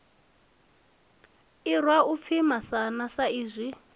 irwa u pfi masana saizwi